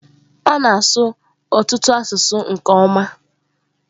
Ọ na-asụ ọtụtụ asụsụ nke ọma.